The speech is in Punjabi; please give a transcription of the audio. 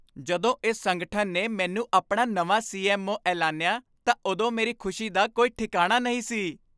ਜਦੋਂ ਇਸ ਸੰਗਠਨ ਨੇ ਮੈਨੂੰ ਆਪਣਾ ਨਵਾਂ ਸੀ.ਐੱਮ.ਓ. ਐਲਾਨਿਆ ਤਾਂ ਉਦੋਂ ਮੇਰੀ ਖੁਸ਼ੀ ਦਾ ਕੋਈ ਠਿਕਾਣਾ ਨਹੀਂ ਸੀ।